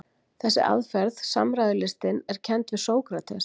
Þessi aðferð, samræðulistin, er kennd við Sókrates.